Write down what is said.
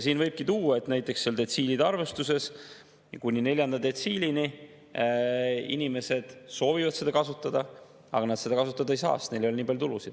Siin võibki tuua näiteks, et detsiilide arvestuses kuni neljanda detsiilini inimesed soovivad seda kasutada, aga nad seda kasutada ei saa, sest neil ei ole nii palju tulusid.